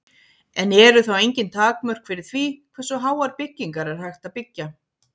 En eru þá engin takmörk fyrir því hversu háar byggingar er hægt að byggja?